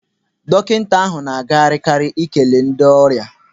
Dọkịta ahụ na agagharị karị ikele ndị ọrịa.